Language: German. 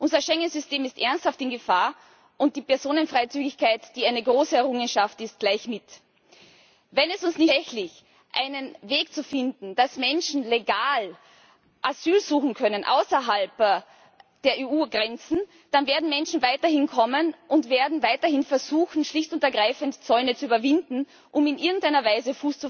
Unser Schengen System ist ernsthaft in Gefahr und die Personenfreizügigkeit, die eine große Errungenschaft ist, gleich mit. Wenn es uns nicht gelingen wird, tatsächlich einen Weg zu finden, dass Menschen legal Asyl suchen können außerhalb der EU Grenzen, dann werden Menschen weiterhin kommen und werden weiterhin versuchen, schlicht und ergreifend Zäune zu überwinden, um in irgendeiner Weise